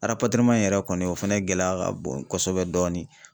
in yɛrɛ kɔni o fɛnɛ gɛlɛya ka bon kosɛbɛ dɔɔnin .